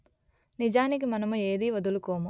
నిజానికి మనము ఏది వదులుకోము